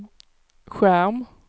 skärm